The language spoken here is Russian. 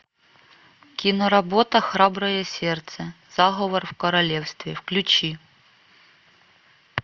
киноработа храброе сердце заговор в королевстве включи